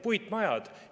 Puitmajad.